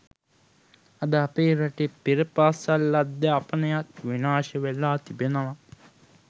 අද අපේ රටේ පෙරපාසල් අධ්‍යාපනයත් විනාශවෙලා තිබෙනවා